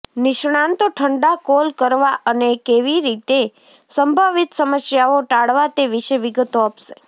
નિષ્ણાતો ઠંડા કોલ કરવા અને કેવી રીતે સંભવિત સમસ્યાઓ ટાળવા તે વિશે વિગતો આપશે